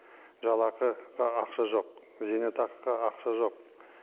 жалақыға ақша жоқ зейнетақыға ақша жоқ